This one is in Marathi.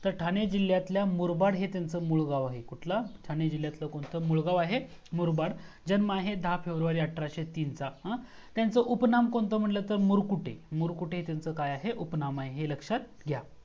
ठाणे जिल्ह्यातल्या मुरबाड हे त्यांचं मुळगाव आहे. कुठलं? ठाणे जिल्ह्यातला कोणता आहे मुरबाड. जन्म आहे दहा फेब्रुवारी अठराशे तीन चा हा. त्याचं उपनाम कोणता म्हटलं तर मुरकुटे. मुरकुटे हे त्यांचं काय आहे त्यांचं उपनाम आहे हे लक्षात घ्या.